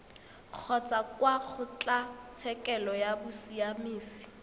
kgotsa kwa kgotlatshekelo ya bosiamisi